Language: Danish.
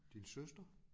Din søster?